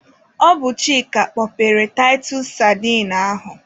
Ọ bụ Chịka kpọpere taịtus sadine ahụ.